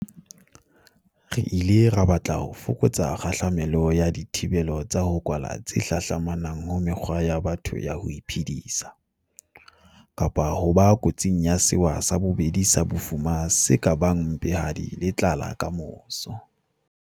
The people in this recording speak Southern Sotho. Re ile ra batla ho fokotsa kgahla melo ya dithibelo tsa ho kwala tse hlahlamanang ho mekgwa ya batho ya ho iphedisa, kapa ho ba kotsing ya sewa sa bobedi sa bofuma se ka bang mpehadi le tlala kamoso.